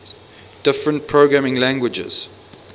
different programming languages